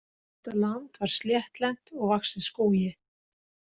Þetta land var sléttlent og vaxið skógi.